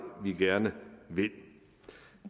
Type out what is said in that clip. vi gerne vil